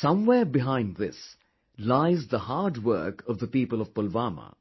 somewhere behind this lies the hard work of the people of Pulwama